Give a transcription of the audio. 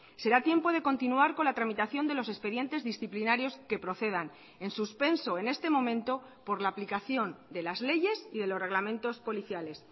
será tiempo de continuar con la tramitación de los expedientes disciplinarios que procedan en suspenso en este momento por la aplicación de las leyes y de los reglamentos policiales